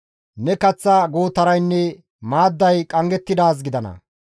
Ne kaththa gootaraynne maadday qanggettidaazi gidana.